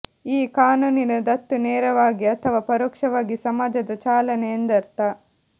ಈ ಕಾನೂನಿನ ದತ್ತು ನೇರವಾಗಿ ಅಥವಾ ಪರೋಕ್ಷವಾಗಿ ಸಮಾಜದ ಚಾಲನೆ ಎಂದರ್ಥ